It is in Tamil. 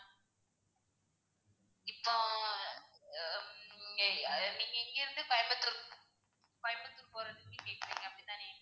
இப்போ ஆஹ் ஹம் எர் நீங்க இங்க இருந்து கோயம்புத்தூர் கோயம்புத்தூர் போறதுக்கு கேக்குறிங்க அப்படி தானே?